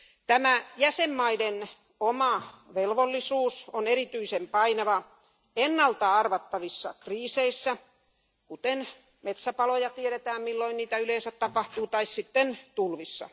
Tämä jäsenmaiden oma velvollisuus on erityisen painava ennalta arvattavissa kriiseissä, kuten metsäpaloissa, joista tiedetään, milloin niitä yleensä tapahtuu, tai tulvissa.